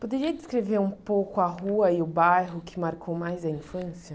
Poderia descrever um pouco a rua e o bairro que marcou mais a infância?